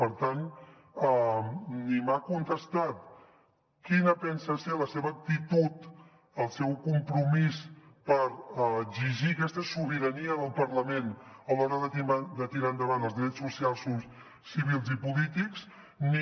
per tant ni m’ha contestat quina pensa ser la seva actitud el seu compromís per exigir aquesta sobirania del parlament a l’hora de tirar endavant els drets socials civils i polítics ni